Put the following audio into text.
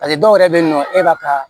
dɔw yɛrɛ bɛ yen nɔ e b'a ka